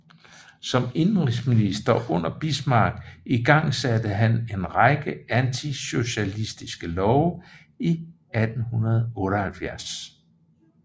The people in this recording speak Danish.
Som indenrigsminister under Bismarck igangsatte han en række antisocialistiske love i 1878